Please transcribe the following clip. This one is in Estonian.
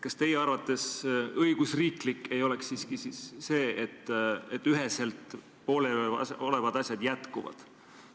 Kas teie arvates õigusriiklik ei oleks siiski see, et pooleliolevad asjad üheselt jätkuvad?